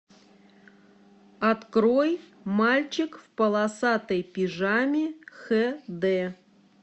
открой мальчик в полосатой пижаме х д